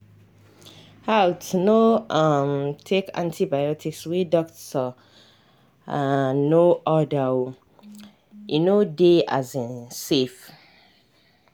haltno um take antibiotics wey doctor um no order oe no dey um safe